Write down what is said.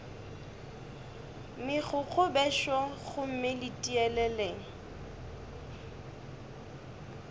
megokgo bešo gomme le tieleleng